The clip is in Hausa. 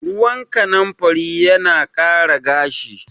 Ruwan kanimfari yana ƙara gashi